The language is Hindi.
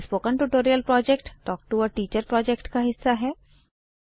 spoken tutorial project talk to a teacher project का हिस्सा है